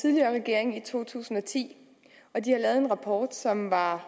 tidligere regering i to tusind og ti og de har lavet en rapport som var